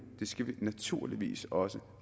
skal vi naturligvis også